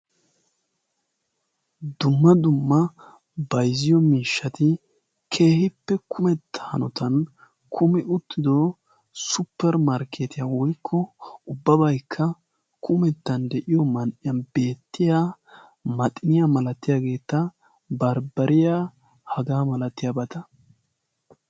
dumma dumma bayzziyo miishshati keehippe kumetta anotan kumi uttido supperi markketiyaa woykko ubbabaykka kumettan de'iyo man''iyan beettiya maaxiniyaa malatiyaageetta barbbariya hagaa malatiyaabata